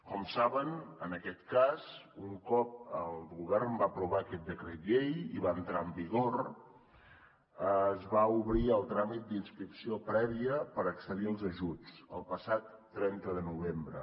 com saben en aquest cas un cop el govern va aprovar aquest decret llei i va entrar en vigor es va obrir el tràmit d’inscripció prèvia per accedir als ajuts el passat trenta de novembre